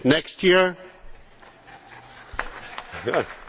Well, I am delighted to respond to that.